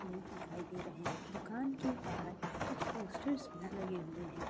लोग दिखाई दे रहे हैं दुकान के बाहर कुछ पोस्टर्स भी लगे हुए हैं।